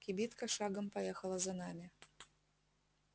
кибитка шагом поехала за нами